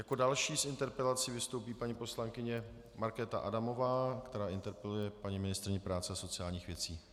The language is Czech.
Jako další s interpelací vystoupí paní poslankyně Markéta Adamová, která interpeluje paní ministryni práce a sociálních věcí.